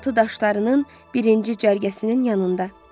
Sualtı daşlarının birinci cərgəsinin yanında.